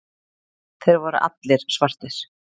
Þeir voru allir svartir.